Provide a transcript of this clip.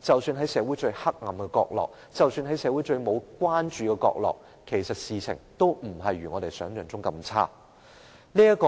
即使在社會上最黑暗的角落、在社會上最沒有關注的角落，事情其實也不如我們想象般差。